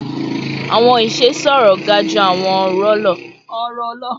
Awọn iṣe sọrọ ga ju awọn ọrọ lọ